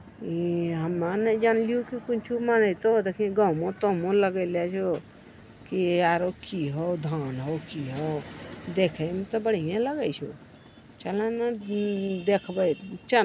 इ हमे ने जान लियो कि कुन चीज मनेतो देखी गमो-तमो लगेला छो कि आरो कि हो धान हो की हो देखे में ते बढ़िये लगे छो चल ने देखबे चल।